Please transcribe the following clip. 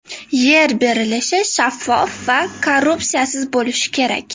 Yer berilishi shaffof va korrupsiyasiz bo‘lishi kerak.